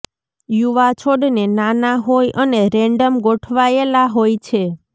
યુવા છોડને નાના હોય અને રેન્ડમ ગોઠવાયેલા હોય છે